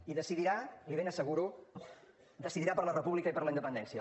i decidirà l’hi ben asseguro per la república i per la independència